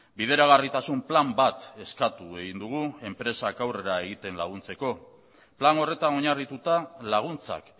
bideragarritasun plan bat eskatu egin dugu enpresak aurrera egiten laguntzeko plan horretan oinarrituta laguntzak